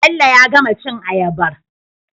bello ya gama cin ayabar